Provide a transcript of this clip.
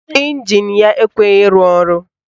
Ịnjin ya ekweghi ịrụ ọrụ